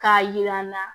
K'a yira n na